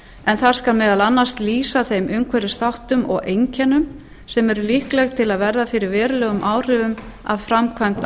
en það skal meðal annars lýsa þeim umhverfisþáttum og einkennum sem eru líkleg til að verða fyrir verulegum áhrifum af framkvæmd